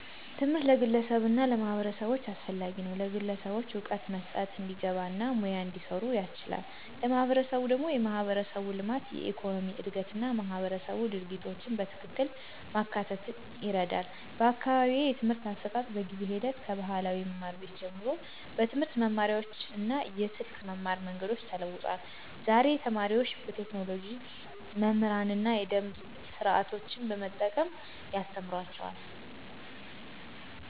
ትምህርት ለግለሰቦች እና ለማህበረሰቦች አስፈላጊ ነው፤ ለግለሰቦች እውቀት መስጠት፣ እንዲግባ እና ሙያ እንዲሰሩ ያስችላል። ለማህበረሰብ ደግሞ የማህበረሰብ ልማት፣ የኢኮኖሚ እድገት እና ማህበረሰብ ድርጊቶችን በትክክል ማካተት ይረዳል። በአካባቢዬ የትምህርት አሰጣጥ በጊዜ ሂደት ከባህላዊ መማር ቤት ጀምሮ በትምህርት መማሪያዎች እና የስልክ መማር መንገዶች ተለውጧል። ዛሬ ተማሪዎች በቴክኖሎጂ መምህራን እና የደምብ ስርዓቶችን በመጠቀም ያስተማሩአቸዋል።